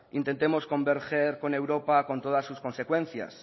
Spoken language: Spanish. intentemos convergen con europa con todas sus consecuencias